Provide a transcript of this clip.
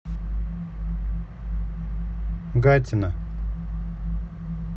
гатина